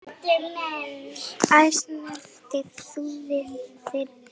Æ, snertir þú við þyrni?